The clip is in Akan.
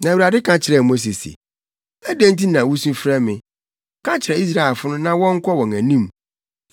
Na Awurade ka kyerɛɛ Mose se, “Adɛn nti na wusu frɛ me? Ka kyerɛ Israelfo no na wɔnkɔ wɔn anim.